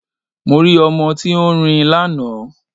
Mo rí ọmọ tí ó ń rin lánàá